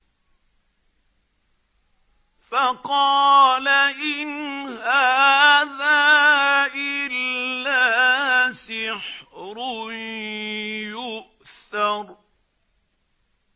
فَقَالَ إِنْ هَٰذَا إِلَّا سِحْرٌ يُؤْثَرُ